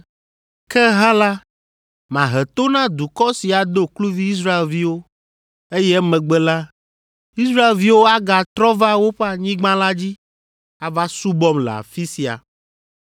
Ke hã la, mahe to na dukɔ si ado kluvi Israelviwo, eye emegbe la, Israelviwo agatrɔ va woƒe anyigba la dzi ava subɔm le afi sia.’